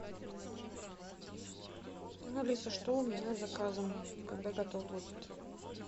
алиса что у меня с заказом когда готов будет